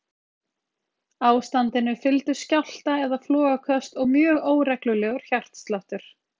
Ástandinu fylgdu skjálfta- eða flogaköst og mjög óreglulegur hjartsláttur.